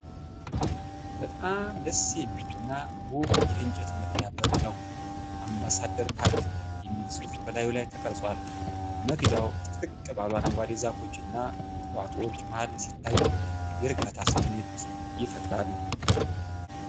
በጣም ደስ የሚል እና ውብ የእንጨት መግቢያ በር ነው! "አምባሳደር ፓርክ" የሚል ጽሑፍ በላዩ ላይ ተቀርጿል። መግቢያው ጥቅጥቅ ባሉ አረንጓዴ ዛፎች እና ቁጥቋጦዎች መሃል ሲታይ፣ የእርጋታ ስሜት ይፈጥራል።